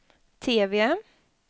TV